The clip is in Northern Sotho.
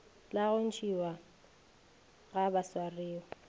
la go ntšhiwa ga baswariwa